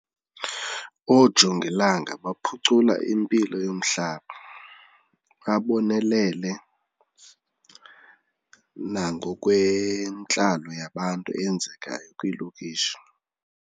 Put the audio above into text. Oojongilanga baphucula impilo yomhlaba, babonelele nangokwentlalo yabantu eyenzekayo kwiilokishi.